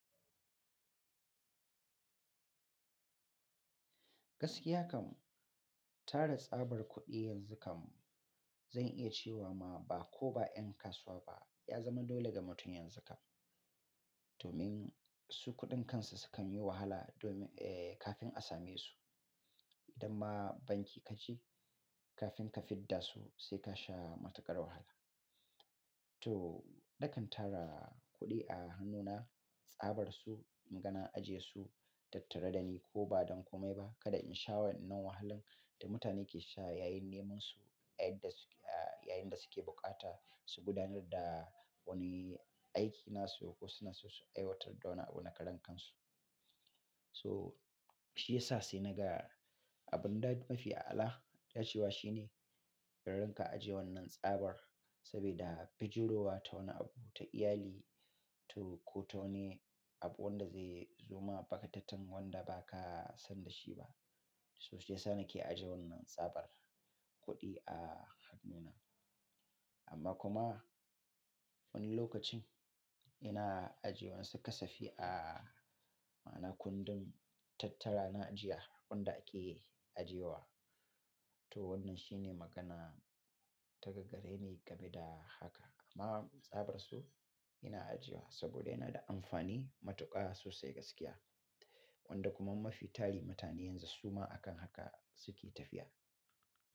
Gaskiya kam tara tsabar kuɗi yanzu kam zan iya cewa ma ba ko ba 'yan kasuwa ba ya zama dole ga mutum yanzu kam. Domin su kuɗin kansu sukan yi wahala domin, eh, kafin a same su. Idan ma banki ka je kafin ka fidda su sai ka sha matuƙar wahala. To, nakan tara kuɗi a hannuna, tsabar su, inga na ajiye su, tattare da ni ko ba don kome ba, kada in sha wannan wahalin da mutane ke sha yayin neman su, yayin da suke, yayin da suke bukata su gudanar da wani aiki nasu ko suna so su aiwatar da wani abu na karen kansu. So, shi ya sa sai na ga abun da mafi ala dace wa shi ne idan ranka ajiye wannan tsabar. Saboda fijirowa ta wani abu ta iyali to ko ta wani abu wanda zai zuma bakatatan wanda baka san da shi ba. So shi ya sa na ke ajiye wannan tsabar kuɗi a hannuna. Amma kuma wani lokacin ina ajiye wasu kasafi a, ma'ana kundin tattara na ajiya, waɗanda ake ajiye wa. To wannan shi ne magana ta gagarre ne game da haka. Amma tsabar su ina ajiye wa saboda yana da amfani matuƙa sosai gaskiya. Wanda kuma mafi tali mutane yanzu su ma akan haka suke tafiya.